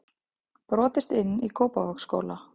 Brotist inn í Kópavogsskóla